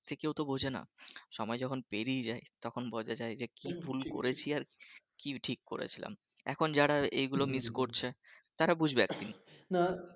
যে কেউ তো বোঝেনা সময় যখন পেরিয়ে যায় তখন বোঝা যায় যে কি ভুল করেছি আর কি ঠিক করেছিলাম এখন যারা এগুলো miss করছে তারা বুঝবে না না